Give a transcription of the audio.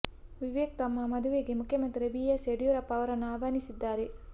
ವಿವೇಕ್ ತಮ್ಮ ಮದುವೆಗೆ ಮುಖ್ಯಮಂತ್ರಿ ಬಿ ಎಸ್ ಯಡಿಯೂರಪ್ಪ ಅವರನ್ನು ಆಹ್ವಾನಿಸಿದ್ದಾರೆ